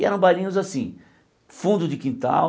E eram bailinhos assim, fundo de quintal,